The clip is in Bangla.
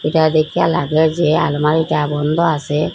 ইহা দেখিয়া লাগল যে আলমারিটা বন্ধ আসে।